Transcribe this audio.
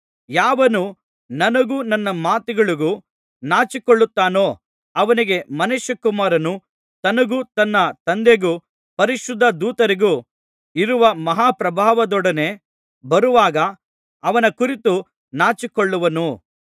ಯಾವನು ನನಗೂ ನನ್ನ ಮಾತುಗಳಿಗೂ ನಾಚಿಕೊಳ್ಳುತ್ತಾನೋ ಅವನಿಗೆ ಮನುಷ್ಯಕುಮಾರನು ತನಗೂ ತನ್ನ ತಂದೆಗೂ ಪರಿಶುದ್ಧ ದೂತರಿಗೂ ಇರುವ ಮಹಾಪ್ರಭಾವದೊಡನೆ ಬರುವಾಗ ಅವನ ಕುರಿತು ನಾಚಿಕೊಳ್ಳುವನು